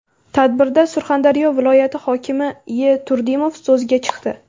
Tadbirda Surxondaryo viloyati hokimi E. Turdimov so‘zga chiqdi.